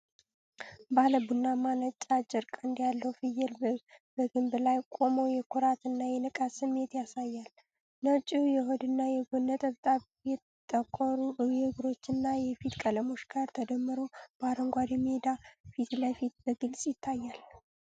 ባለ ቡናማና ነጭ፣ አጭር ቀንድ ያለው ፍየል፣ በግንድ ላይ ቆሞ የኩራት እና የንቃት ስሜት ያሳያል። ነጩ የሆድና የጎን ነጠብጣብ ከጠቆሩ የእግሮቹና የፊት ቀለሞች ጋር ተደምሮ፣ በአረንጓዴ ሜዳ ፊት ለፊት በግልጽ ይታያል።